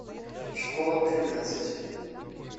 школа тринадцать